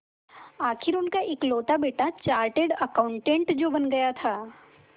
आखिर उनका इकलौता बेटा चार्टेड अकाउंटेंट जो बन गया था